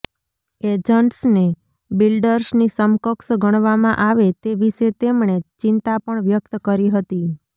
એજન્ટ્સને બિલ્ડર્સની સમકક્ષ ગણવામાં આવે તે વિશે તેમણે ચિંતા પણ વ્યક્ત કરી હતી